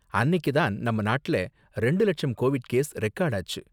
அன்னிக்கு தான் நம்ம நாட்டுல ரெண்டு லட்சம் கோவிட் கேஸ் ரெகார்டு ஆச்சு.